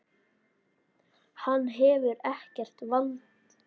Hann hefur ekkert vald.